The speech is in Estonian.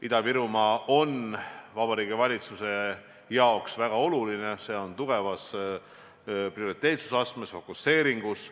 Ida-Virumaa on Vabariigi Valitsuse jaoks väga oluline prioriteet, tugevalt fookuses.